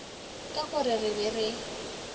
ka gore re be re